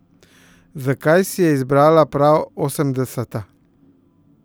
Zakaj si je izbrala prav osemdeseta?